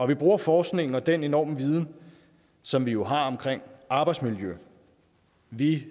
vi bruger forskningen og den enorme viden som vi jo har om arbejdsmiljø vi